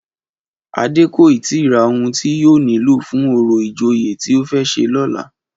Adé kò ì tíì ra ohun tí yóò nílò fún orò ìjòyè tí ó fẹ́ ṣe lọ́la